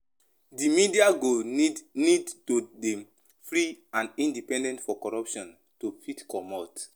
Di media go need need to dey free and independent for corruption to fit comot